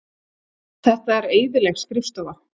Þetta er eyðileg skrifstofa.